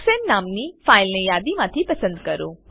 હેક્સાને નામની ફાઈલને યાદી માંથી પસંદ કરો